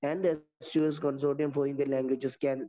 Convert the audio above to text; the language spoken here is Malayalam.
ആൻഡ്‌ സ്‌2സ്‌ consortium for Indian languages can